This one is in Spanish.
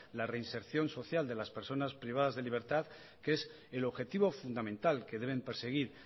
la reinserción social de las personas privadas de libertad que es el objetivo fundamental que deben perseguir